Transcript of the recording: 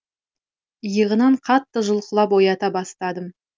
иығынан қатты жұлқылап оята бастадым